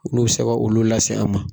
N'u bi se ka olu lase an ma.